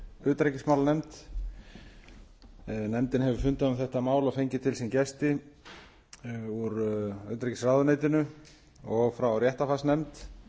utanríkismálanefnd nefndin hefur fundað um þetta mál og fengið til sín gesti úr utanríkisráðuneytinu og frá réttarfarsnefnd